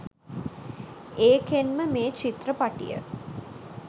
ඒකෙන්ම මේ චිත්‍රපටිය